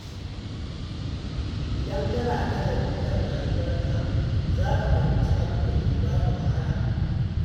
Idan kana nazari kan rayuwarka, za ka fahimci abin da ke baka wahala.